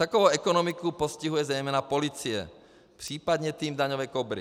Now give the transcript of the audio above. Takovou ekonomiku postihuje zejména policie, případně tým daňové Kobry.